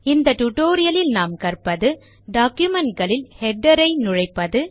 இந்த டுடோரியலில் நாம் கற்பது டாக்குமென்ட் களில் ஹெடர் களை உள்நுழைப்பது